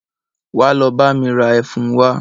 Wá lọ bá mi ra Ẹfun wa